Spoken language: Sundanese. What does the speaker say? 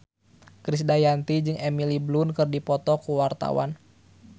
Krisdayanti jeung Emily Blunt keur dipoto ku wartawan